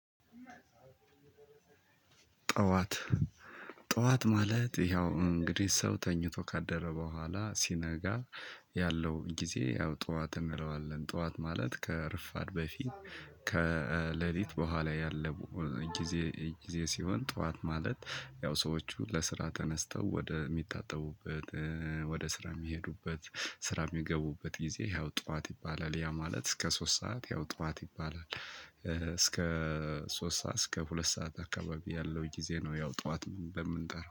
ጠዋት ጠዋት ማለት ያው እንግዲ ሰው ተኝቶ ካደረ በኋላ ሲነጋ ያለው ጊዜ ያው ጥዋት እንለዋለን ጥዋት ማለት ከረፉድ በፊት ከሌሊት በኋላ ያለው ጊዜ ጊዜ ሲሆን ጠዋት ማለት ያው ሰዎቹ ለስራ ተነስተው ወደ የሚታጠቡበት ወደ ስራ የሚሄዱበት ስራ የሚገቡበት ጊዜ ያው ጠዋት ይባላል። ያ ማለት ከ ሶስት ሰዓት ያው ጠዋት ይባላል እስከ ሶስት ሰዓት እስከ ሁለት ሰዓት አካባቢ ያለው ጊዜ ነው። ያው ጠዋት ብለን የምንጠራው